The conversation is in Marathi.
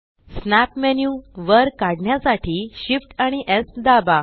स्नॅप मेन्यू वर काढण्यासाठी Shift आणि स् दाबा